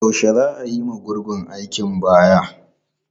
Yaushe za a yiwa gurgun aikin baya?